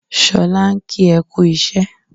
Sọlá ń kí ẹ kú iṣẹ́.